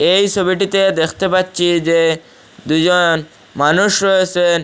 এই সোবিটিতে দেখতে পাচ্ছি যে দুইজন মানুষ রয়েসেন।